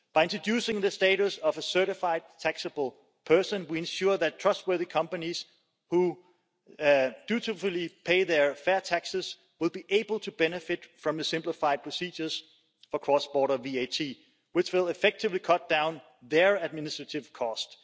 By introducing the status of a certified taxable person, we ensure that trustworthy companies who dutifully pay their fair taxes will be able to benefit from the simplified procedures for cross border VAT, which will effectively cut down their administrative costs.